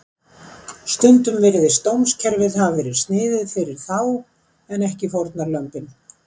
Stundum virðist dómskerfið hafa verið sniðið fyrir þá en ekki fórnarlömbin.